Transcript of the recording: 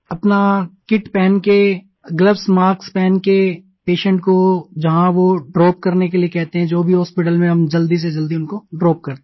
अपना किट पहन कर अपने ग्लोव्स मास्क पहन कर पेशेंट को जहाँ वो ड्रॉप करने के लिए कहते हैं जो भी हॉस्पिटल में हम जल्दी से जल्दी उनको ड्रॉप करते हैं